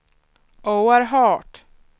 oerhört